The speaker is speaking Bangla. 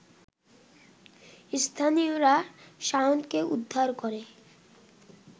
স্থানীয়রা শাওনকে উদ্ধার করে